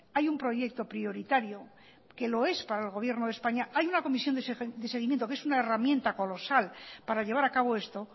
hay un proyecto prioritario que lo es para el gobierno de españa hay una comisión de seguimiento que es una herramienta colosal para llevar acabo esto